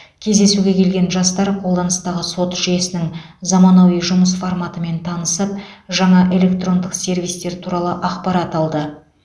кездесуге келген жастар қолданыстағы сот жүйесінің заманауи жұмыс форматымен танысып жаңа электрондық сервистер туралы ақпарат алды